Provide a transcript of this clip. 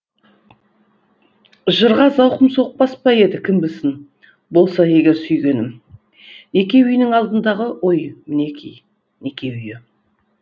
жырға зауқым соқпас па еді кім білсін болса егер сүйгенім неке үйінің алдындағы оймінеки неке үйі